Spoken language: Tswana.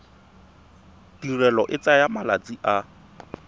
tirelo e tsaya malatsi a